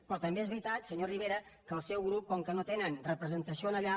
però també és veritat senyor rivera que el seu grup com que no tenen representació allà